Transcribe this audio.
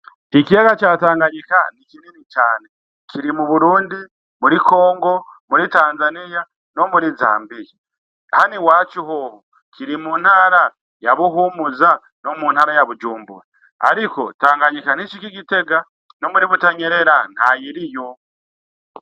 Ikiyaga ca tanganyika nikinini cane. kiri mu BURUNDI, muri CONGO, muri TANZANIYA ,nomuri ZAMBIYA. Hano iwacu hoho kiri mu ntara yabuhumuza, no mu ntara ya bujumbura. Ariko tanganyika ntishika i gitega no muri butanyerera ntayiriyo.